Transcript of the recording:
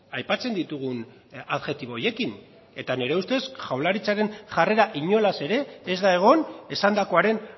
aipatzen ditugun adjektibo horiekin eta nire ustez jaurlaritzaren jarrera inolaz ere ez da egon esandakoaren